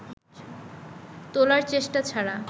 তোলার চেষ্টা ছাড়া